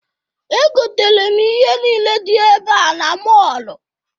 Egotere m ihe niile dị ebe a na mọọlụ.